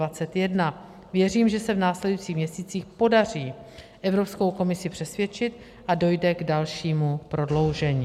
Věřím, že se v následujících měsících podaří Evropskou komisi přesvědčit a dojde k dalšímu prodloužení.